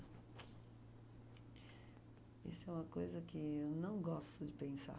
Isso é uma coisa que eu não gosto de pensar.